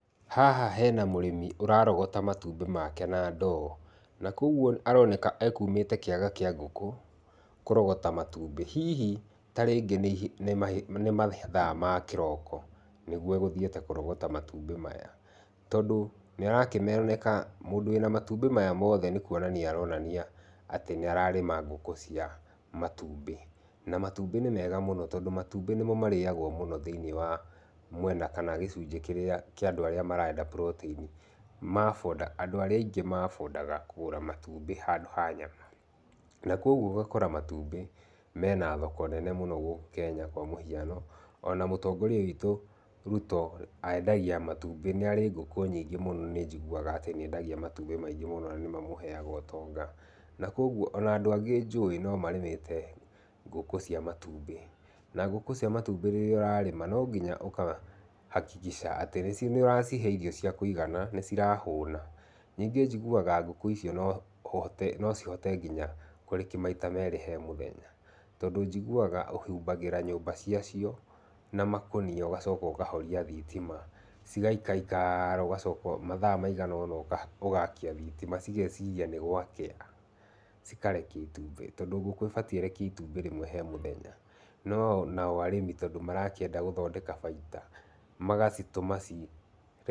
Haha hena mũrĩmi ũrarogota matumbĩ make na ndoo. Na koguo aroneka ekumĩte kĩaga kĩa ngũkũ kũrogota matumbĩ. Hihi ta rĩngĩ nĩ mathaa ma kĩroko nĩguo egũthiĩte kũrogota matumbĩ maya. Tondũ nĩarakĩoneka mũndũ wĩna matumbĩ maya mothe nĩkũonania aronania atĩ nĩararĩma ngũkũ cia matumbĩ. Na matumbĩ nĩ mega mũno, tondũ matumbĩ nĩmo marĩagwo mũno thĩ-ini wa mwena kana gĩcunjĩ kĩrĩa kia andũ arĩa marenda protein. Andũ arĩa aingĩ maabondaga kũgũra matumbĩ handũ ha nyama. Na kogwo ũgakora matumbĩ mena thoko nene mũno gũkũ Kenya kwa mũhĩano. Ona mũtongoria witũ, Ruto endagia matumbĩ. Nĩarĩ ngũkũ nyingĩ mũno nĩnjiguaga atĩ nĩendagia matumbĩ maingĩ mũno na nĩ mamũheaga ũtonga. Na kogwo ona andũ angĩ njũĩ no marĩmĩte ngũkũ cia matumbĩ. Na ngũkũ cia matumbĩ rĩrĩa ũrarĩma no nginya ũkahakikisha atĩ nĩũracihe irio cia kũigana; nĩ cirahũna. Ningĩ njiguaga ngũkũ icio no cihote nginya kũrekia maita merĩ he mũthenya. Tondũ njiguaga ũhumbagĩra nyũmba ciacio na makũnia ũgacoka ũkahoria thitima. Cigaikaikara ũgacoka mathaa maigana ũna ũgakia thitima cigeciria ni gwakĩa, cikarekia itumbĩ. Tondũ ngũkũ ĩbatiĩ ĩrekie itumbĩ rĩmwe he mũthenya. No nao arĩmi tondũ marakĩenda gũthondeka baida magacitũma...